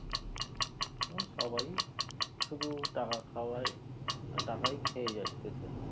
ও সবাই শুধু টাকা খাওয়াই তাকাই খেয়ে যাচ্ছে সব।